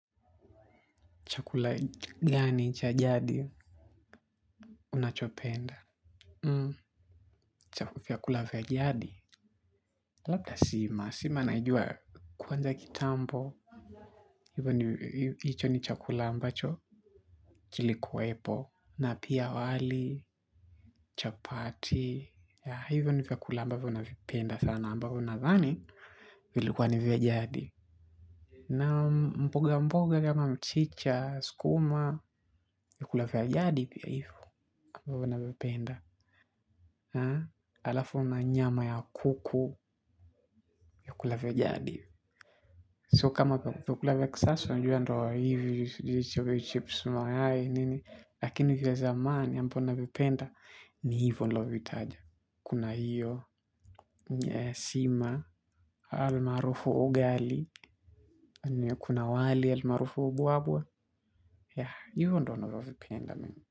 Chakula gani, cha jadi, unachopenda? Mmm, vyakula vya jadi. Labda sima, sima naijua kwanza kitambo. Hivyo hicho ni chakula ambacho, kilikuwepo. Na pia wali, chapati ya hivyo ni vyakula ambavo navipenda sana, ambavo nadhani vilikuwa ni vya jadi na mboga mboga kama mchicha, skuma vyakula vya jadi pia hivo ambavo navipenda alafu na nyama ya kuku vyakula vya jadi sio kama vyakula vya kisasa unajua ndio hivi sijui chips mayai nini lakini vya zamani ambavyo navipenda ni hivo nilivovitaja kuna hiyo nya ya sima almaarufu ugali. Anu ya kuna wali almaarufu ubwabwa. Yah, hivyo ndo navovipenda mimi.